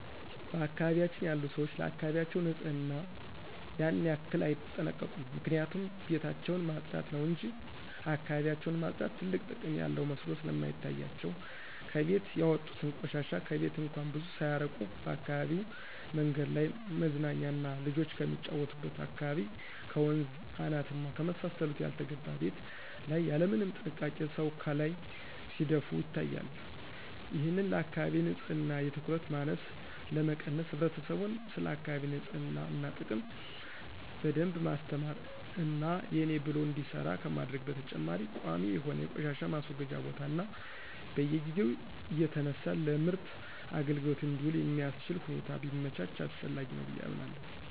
በአካባቢያችን ያሉ ሰዎች ለአካባቢያቸው ንጽህና ያን ያክል አይጠነቀቁም ምክንያቱም ቤታቸውን ማጽዳት ነው እንጅ እካባቢያቸውን ማጽዳት ትልቅ ጥቅም ያለው መስሎ ስለማይታያቸው ከቤት ያወጡትን ቆሻሻ ከቤት እንኳን ብዙ ሳያርቁ በአካባቢው መንገድ ላይ፣ መዝናኛና ልጆች ከሚጫወቱበት አካባቢ፣ ከወንዝ አናት እና ከመሳሰሉት ያልተገባ ቤት ላይ ያለምንም ጥንቃቄ ሰው ካላይ ሲደፉ ይታያሉ። ይህንን ለአካባቢ ንጽህና የትኩረት ማነስ ለመቀነስ ህብረተሰቡን ስለአካቢ ንጽህና ጥቅም በደንብ ማስተማር እና የኔ ብሎ እንዲሰራ ከማድረግ በተጨማሪ ቋሚ የሆነ የቆሻሻ ማስወገጃ ቦታ እና በየጊዜው እየተነሳ ለምርት አግልግሎት እንዲውል የሚአስችል ሁኔታ ቢመቻች አስፈላጊ ነው ብየ አምናለሁ።